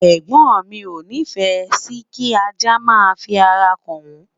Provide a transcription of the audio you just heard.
ẹgbọn mi o ni fe Si kí ajá má fi ará ka n won